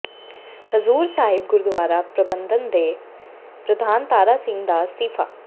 ਹਜ਼ੂਰ ਸਾਹਿਬ ਗੁਰਦੁਆਰਾ ਪ੍ਰਬੰਧਨ ਦੇ ਪ੍ਰਧਾਨ ਤਾਰਾ ਸਿੰਘ ਦਾ ਅਸਤੀਫ਼ਾ